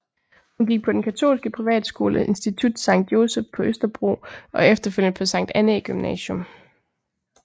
Hun gik på den katolske privatskole Institut Sankt Joseph på Østerbro og efterfølgende på Sankt Annæ Gymnasium